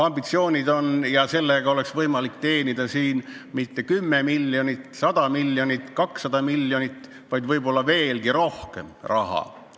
Ambitsioon on, et sellega oleks võimalik teenida mitte 10 miljonit, 100 miljonit või 200 miljonit, vaid võib-olla veelgi rohkem raha.